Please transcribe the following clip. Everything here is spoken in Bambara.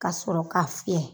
Ka sɔrɔ k'a fiyɛ